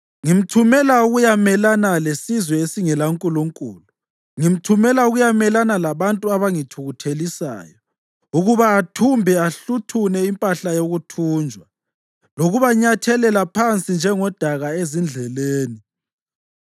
Ngimthumela ukuyamelana lesizwe esingelankulunkulu, ngimthumela ukuyamelana labantu abangithukuthelisayo, ukuba athumbe ahluthune impahla yokuthunjwa, lokubanyathelela phansi njengodaka ezindleleni.